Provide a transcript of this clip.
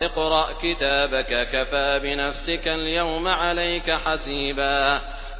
اقْرَأْ كِتَابَكَ كَفَىٰ بِنَفْسِكَ الْيَوْمَ عَلَيْكَ حَسِيبًا